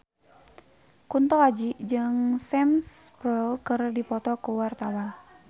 Kunto Aji jeung Sam Spruell keur dipoto ku wartawan